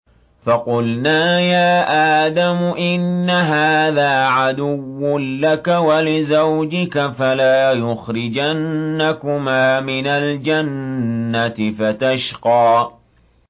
فَقُلْنَا يَا آدَمُ إِنَّ هَٰذَا عَدُوٌّ لَّكَ وَلِزَوْجِكَ فَلَا يُخْرِجَنَّكُمَا مِنَ الْجَنَّةِ فَتَشْقَىٰ